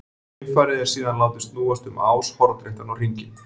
Geimfarið er síðan látið snúast um ás hornréttan á hringinn.